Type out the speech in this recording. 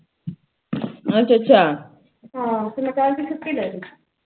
ਹਨ ਤੇ ਮੈਂ ਕਲ ਦੀ ਛੁਟੀ ਲਾ ਲੈ